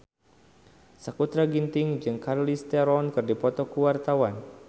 Sakutra Ginting jeung Charlize Theron keur dipoto ku wartawan